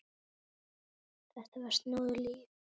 Þetta var snúið líf.